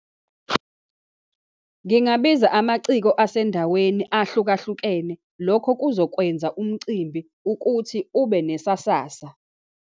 Ngingabiza amaciko asendaweni ahlukahlukene. Lokho kuzokwenza umcimbi ukuthi ube nesasasa.